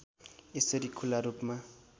यसरी खुला रूपमा